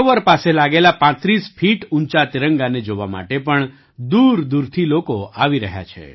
સરોવર પાસે લાગેલા ૩૫ ફીટ ઊંચા તિરંગાને જોવા માટે પણ દૂરદૂરથી લોકો આવી રહ્યા છે